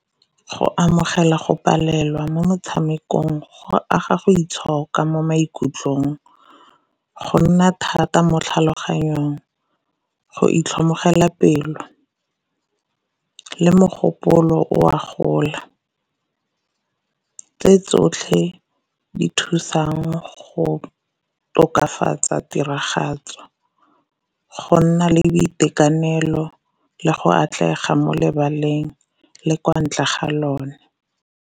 Go amogela go palelwa mo motshamekong go aga go itshoka mo maikutlong, go nna thata mo tlhaloganyong, go itlhomogela pelo, le mogopolo o a gola. Tse tsotlhe di thusang go tokafatsa tiragatso, go nna le boitekanelo, le go atlega mo lebaleng le kwa ntle ga lone.